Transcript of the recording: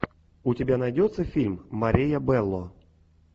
у тебя найдется фильм мария белло